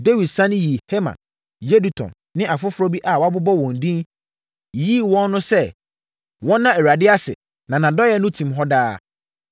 Dawid sane yii Heman, Yedutun ne afoforɔ bi a wɔbobɔɔ wɔn din, yiyii wɔn no sɛ, wɔnna Awurade ase “Na nʼadɔeɛ no tim hɔ daa.”